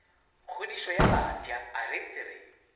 kgodišo ya bafsa aretse re